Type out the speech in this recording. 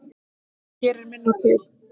Það gerir minna til.